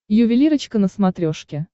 ювелирочка на смотрешке